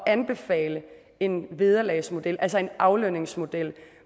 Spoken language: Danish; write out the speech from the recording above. anbefale en vederlagsmodel altså en aflønningsmodel